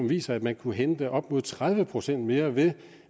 viser at man kan hente op mod tredive procent mere ved